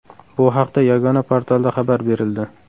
Bu haqda yagona portalda xabar berildi .